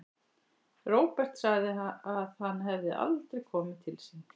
Róbert sagði að hann hefði aldrei komið til sín.